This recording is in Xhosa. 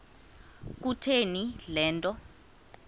kutheni le nto